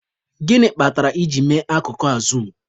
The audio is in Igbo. Gịnị kpatara I ji mee akụkụ a zuum?